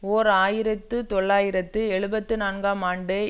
ஓர் ஆயிரத்தி தொள்ளாயிரத்து எழுபத்து நான்காம் ஆண்டு